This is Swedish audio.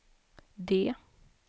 D